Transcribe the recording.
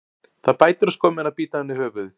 Það bætir á skömmina að bíta af henni höfuðið.